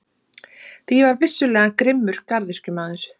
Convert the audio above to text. Því ég var vissulega grimmur garðyrkjumaður.